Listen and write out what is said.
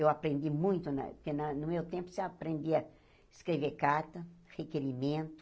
Eu aprendi muito na, porque na no meu tempo você aprendia a escrever carta, requerimento.